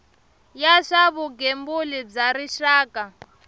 ya swa vugembuli bya rixaka